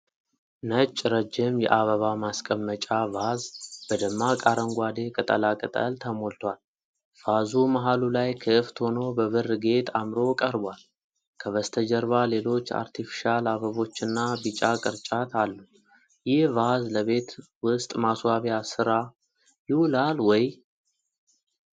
ነጭ ረጅም የአበባ ማስቀመጫ ቫዝ በደማቅ አረንጓዴ ቅጠላ ቅጠል ተሞልቷል። ቫዙ መሃሉ ላይ ክፍት ሆኖ በብር ጌጥ አምሮ ቀርቧል። ከበስተጀርባ ሌሎች አርቴፊሻል አበቦችና ቢጫ ቅርጫት አሉ። ይህ ቫዝ ለቤት ውስጥ ማስዋቢያ ስራ ይውላል ወይ?